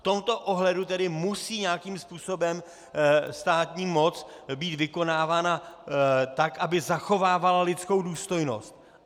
V tomto ohledu tedy musí nějakým způsobem státní moc být vykonávána tak, aby zachovávala lidskou důstojnost.